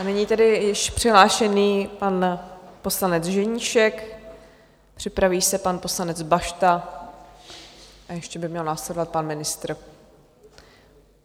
A nyní tedy již přihlášený pan poslanec Ženíšek, připraví se pan poslanec Bašta a ještě by měl následovat pan ministr.